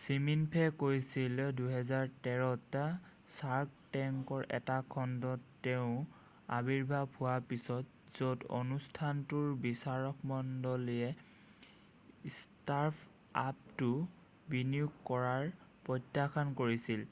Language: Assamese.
ছিমিনফে কৈছিল 2013 ত ছাৰ্ক টেংকৰ এটা খণ্ডত তেওৰ আৱিৰ্ভাৱ হোৱাৰ পিছত য'ত অনুষ্ঠানটোৰ বিচাৰকমণ্ডলীয়ে ষ্টাৰ্টআপটোত বিনিয়োগ কৰাটো প্ৰত্যাখ্যান কৰিছিল